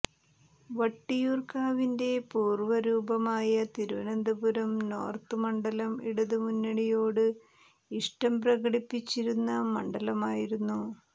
വട്ടിയൂര്ക്കാവിന്റെ പൂര്വ്വരൂപമായ തിരുവനന്തപുരം നോര്ത്ത് മണ്ഡലം ഇടതുമുന്നണിയോട് ഇഷ്ടം പ്രകടിപ്പിച്ചിരുന്ന മണ്ഡലമായിരുന്നു